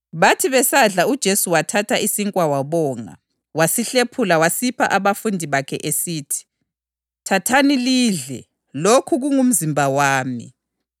Wasesithi uJudasi, lowo owayezamnikela, “Pho kawutsho mina, Rabi?” UJesu waphendula wathi, “Yebo, nguwe okutshoyo.”